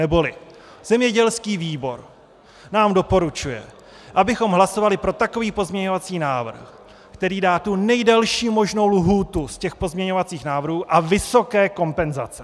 Neboli zemědělský výbor nám doporučuje, abychom hlasovali pro takový pozměňovací návrh, který dá tu nejdelší možnou lhůtu z těch pozměňovacích návrhů a vysoké kompenzace.